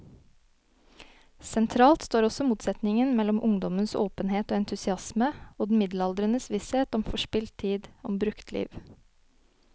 Sentralt står også motsetningen mellom ungdommens åpenhet og entusiasme og den middelaldrendes visshet om forspilt tid, om brukt liv.